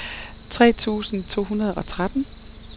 tre tusind to hundrede og tretten